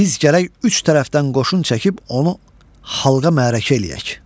Biz gərək üç tərəfdən qoşun çəkib onu halqa məarəkə eləyək.